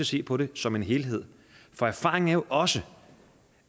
se på det som en helhed for erfaringen er jo også